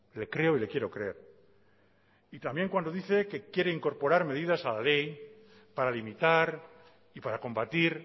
le creo y le quiero creer y también cuando dice que quiere incorporar medidas a la ley para limitar y para combatir